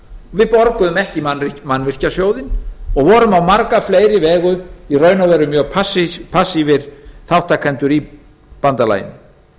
við borguðum ekki í mannvirkjasjóðinn og vorum á marga fleiri vegu mjög passífir þátttakendur í bandalaginu